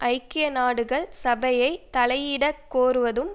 ஐக்கிய நாடுகள் சபையை தலையிட கோருவதும்